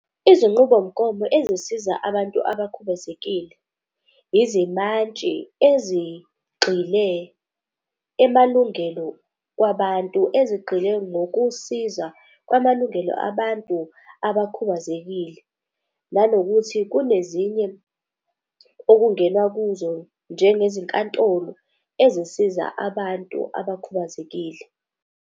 Izinqubomgomo ezisiza abantu abakhubazekile izimantshi ezigxile emalungelo kwabantu, ezigxila ngokusiza kwamalungelo abantu abakhubazekile. Nanokuthi kunezinye okungenwa kuzo njengezinkantolo ezisiza abantu abakhubazekile.